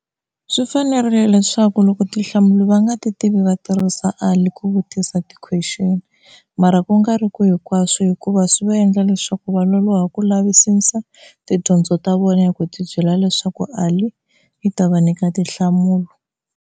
Swi fanerile leswaku loko tinhlamulo va nga ti tivi va tirhisa Ali ku vutisa ti question, mara ku nga ri ku hinkwaswo hikuva swi va endla leswaku va loloha ku lavisisa tidyondzo ta vona hi ku tibyela leswaku Ali u ta va nyika tinhlamulo.